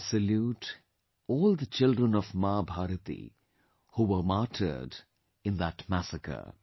I salute all the children of Ma Bharati who were martyred in that massacre